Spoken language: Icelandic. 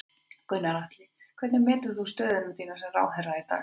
Gunnar Atli: Hvernig metur þú stöðu þína sem ráðherra í dag?